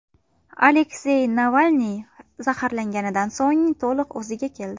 Aleksey Navalniy zaharlanganidan so‘ng to‘liq o‘ziga keldi.